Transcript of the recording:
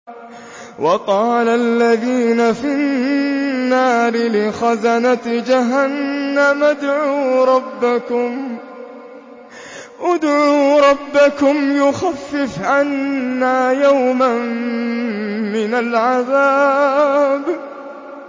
وَقَالَ الَّذِينَ فِي النَّارِ لِخَزَنَةِ جَهَنَّمَ ادْعُوا رَبَّكُمْ يُخَفِّفْ عَنَّا يَوْمًا مِّنَ الْعَذَابِ